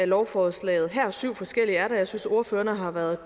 lovforslaget her der er syv forskellige og jeg synes ordførerne har været